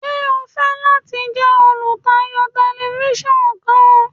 Ṣe o fẹ lati jẹ olutayo Tẹlifisiọnu kan?